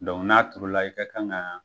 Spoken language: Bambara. n'a turula i ka kan ka